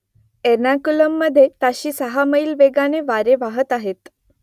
एर्नाकुलममधे ताशी सहा मैल वेगाने वारे वाहत आहेत